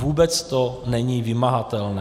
Vůbec to není vymahatelné.